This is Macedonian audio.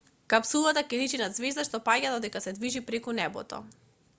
капсулата ќе личи на ѕвезда што паѓа додека се движи преку небото